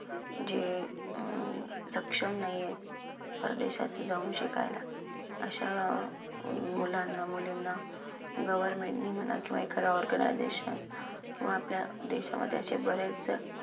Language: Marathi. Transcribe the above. जे अं सक्षम नाहीयेत परदेशात जाऊन शिकायला. अशा मुलांना मुलींना government नी म्हणा किंवा एखादा organisation किंवा आपल्या देशामध्ये असे बरेच